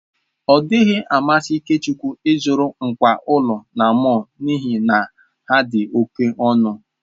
Ọ dịghị amasị Ikechukwu ịzụrụ ngwá ụlọ na mọll n'ihi na ha dị oke ọnụ.